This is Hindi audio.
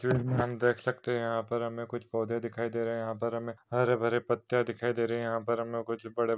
हम देख सकते है यहा पर हमे कुछ पौधे दिखाई दे रहे है यहा पर हमे हरे भरे पत्ते दिखाई दे रहे है यहाँ पर कुछ हमे बड़े--